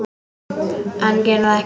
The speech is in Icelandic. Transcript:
En geri það ekki.